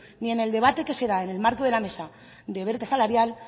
ni en el debate que se da en el marco de la mesa de brecha salarial